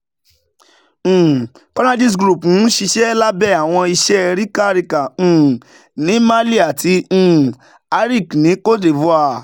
um conergies-group n ṣiṣẹ labẹ awọn iṣẹ rica rica um ni mali ati um aric ni côte d'ivoire.